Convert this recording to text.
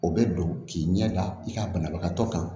O bɛ don k'i ɲɛ da i ka banabagatɔ kan